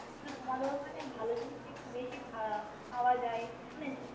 কিন্তু তোমাদের ওখানে ভালো জিনিসটা একটু বেশি পাওয়া যায়